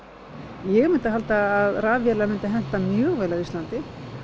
ég myndi halda að rafvélar myndu henta mjög vel á Íslandi